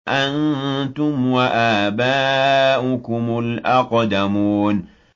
أَنتُمْ وَآبَاؤُكُمُ الْأَقْدَمُونَ